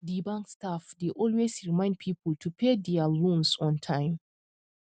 di bank staff dey always remind people to pay dia loans on time